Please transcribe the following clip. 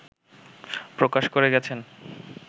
প্রকাশ করে গেছেন